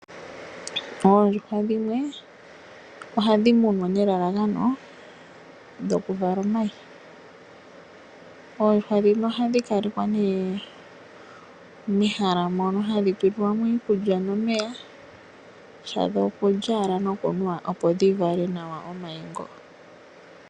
Oondjuhwa dhimwe , ohadhi munwa nelalakano dhoku vala omayi . Oondjuhwa dhino ohadhi kalekwa nee mehala mono hadhi tulilwa mo iikulya nomeya . Shadho okulya owala nokunwa opo dhi vale nawa omayi ngo .